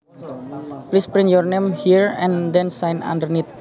Please print your name here and then sign underneath